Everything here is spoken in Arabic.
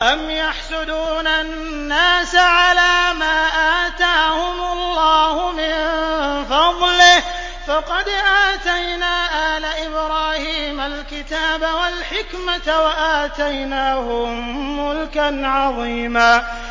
أَمْ يَحْسُدُونَ النَّاسَ عَلَىٰ مَا آتَاهُمُ اللَّهُ مِن فَضْلِهِ ۖ فَقَدْ آتَيْنَا آلَ إِبْرَاهِيمَ الْكِتَابَ وَالْحِكْمَةَ وَآتَيْنَاهُم مُّلْكًا عَظِيمًا